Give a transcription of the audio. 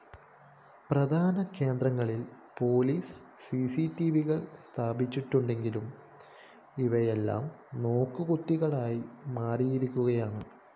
പ്രധാന കേന്ദ്രങ്ങളില്‍ പോലീസ് സിസിടിവികള്‍ സ്ഥാപിച്ചിട്ടുണ്ടെങ്കിലും ഇവയെല്ലാം നോക്കുകുത്തികളായി മാറിയിരിക്കുകയാണ്